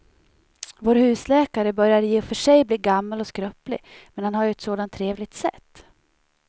Vår husläkare börjar i och för sig bli gammal och skröplig, men han har ju ett sådant trevligt sätt!